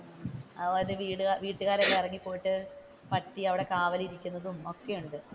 അവരുടെ വീട്വീട്ടുകാർ എല്ലാം ഇറങ്ങിപോയിട്ട് പട്ടിയവിടെ കാവലിരിക്കുന്നതും ഒക്കെ ഉണ്ട്.